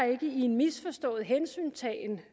ikke i misforstået hensyntagen